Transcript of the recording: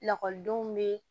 Lakɔlidenw bɛ